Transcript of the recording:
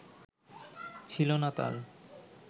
ছিল না তার